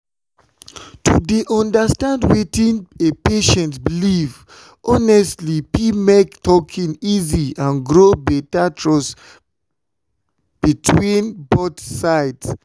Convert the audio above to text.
to dey understand wetin a patient believe honestly fit make talking easy and grow better trust between both sides.